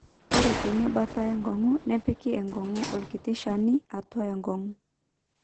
ore teina baata enkong'u nepiki enkong'u orkiti shani atua enkong'u